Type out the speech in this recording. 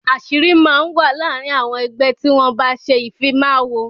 Àṣírí máa ń wà láàrin àwọn ẹgbẹ́ tí wọn bá ṣe ìfimawo.